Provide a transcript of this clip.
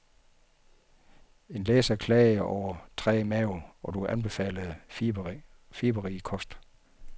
En læser klagede over træg mave, og du anbefalede fiberrig kost.